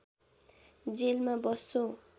जेलमा बस्छौं